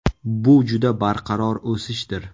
Bu juda barqaror o‘sishdir.